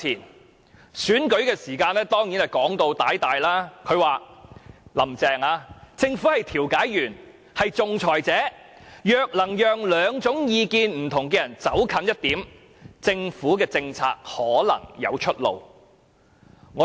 在選舉時的說話當然動聽，"林鄭"便曾說"政府是調解員、仲裁者的角色，若能讓兩種意見不同的人走近一點，政府政策可能有出路"。